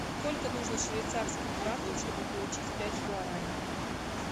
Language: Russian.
сколько нужно швейцарских франков чтобы получить пять гуарани